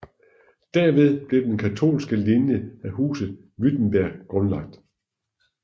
Derved blev den katolske linje af Huset Württemberg grundlagt